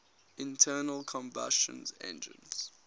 internal combustion engines